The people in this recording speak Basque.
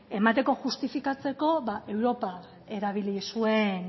emateko justifikatzeko ba europa erabili zuen